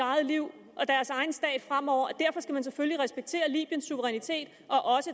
eget liv og deres egen stat fremover skal man selvfølgelig respektere libyens suverænitet og